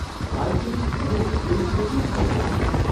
આઈ think ઘણું victim blaming થઈ રહ્યું છે.